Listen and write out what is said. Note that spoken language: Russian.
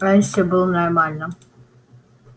раньше был нормально